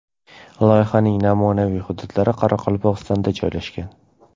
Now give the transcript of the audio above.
Loyihaning namunaviy hududlari Qoraqalpog‘istonda joylashgan.